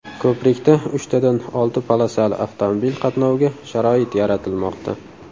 Ko‘prikda uchtadan olti polosali avtomobil qatnoviga sharoit yaratilmoqda.